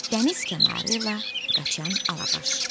Dəniz kənarı ilə qaçan Alabaş.